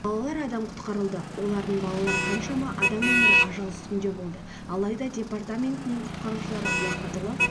балалар адам құтқарылды олардың балалар қаншама адам өмірі ажал үстінде болды алайда департаментінің құтқарушылары уақытылы